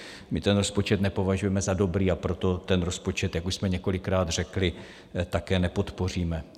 My ten rozpočet nepovažujeme za dobrý, a proto ten rozpočet, jak už jsme několikrát řekli, také nepodpoříme.